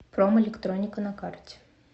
промэлектроника на карте